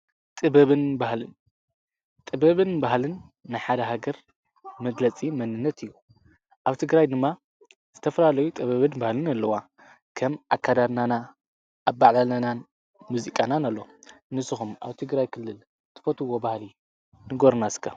ጥበብን ባሃልን ንሓደ ሃገር መግለጺ መንነት እዩ ኣብቲ ግራይ ድማ ዝተፍራለዩ ጥበብን ባህልን ኣለዋ ከም ኣካዳርናና ኣባዕላለናን ሙዚቃናን ኣሎ ንስኹም ኣውቲ ግራይ ክልል ትፈትዎ ባህሊ ንጐርናስከ።